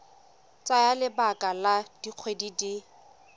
tsaya lebaka la dikgwedi di